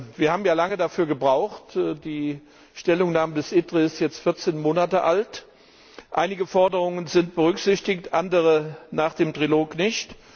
Wir haben ja lange dafür gebraucht die Stellungnahme des ITRE ist jetzt 14 Monate alt. Einige Forderungen sind berücksichtigt, andere nach dem Trilog nicht.